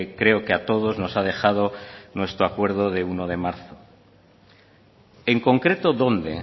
creo que a todos nos ha dejado nuestro acuerdo de uno de marzo en concreto dónde